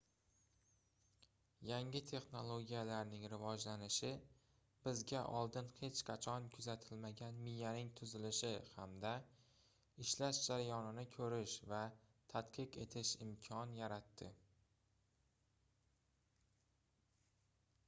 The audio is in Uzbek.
yangi texnologiyalarning rivojlanishi bizga oldin hech qachon kuzatilmagan miyaning tuzilishi hamda ishlash jarayonini koʻrish va tadqiq etish imkon yaratdi